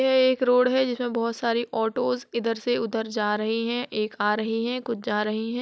यह एक रोड है जिस में बोहोत सारी ऑटोस इधर से उधर जा रही हैं एक आ रही है कुछ जा रही हैं।